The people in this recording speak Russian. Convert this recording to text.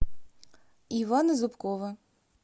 ивана зубкова